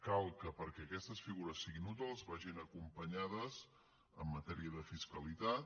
cal que perquè aquestes figures siguin útils vagin acompanyades en matèria de fiscalitat